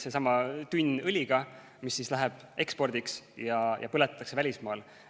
See on tegelikult seesama tünn õliga, mis läheb ekspordiks ja põletatakse välismaal.